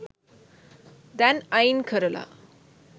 දැන් අයින් කරලා.